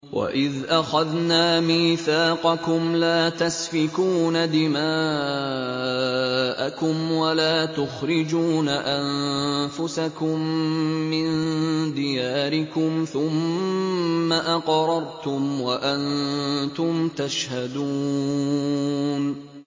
وَإِذْ أَخَذْنَا مِيثَاقَكُمْ لَا تَسْفِكُونَ دِمَاءَكُمْ وَلَا تُخْرِجُونَ أَنفُسَكُم مِّن دِيَارِكُمْ ثُمَّ أَقْرَرْتُمْ وَأَنتُمْ تَشْهَدُونَ